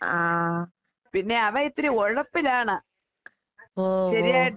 ആഹ്. ഓ ഓ.